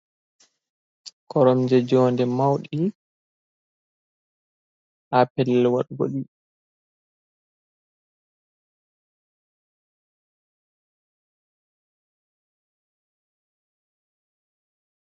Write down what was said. Koromje jonde mauɗi, ha pelel waɗugo ɗi.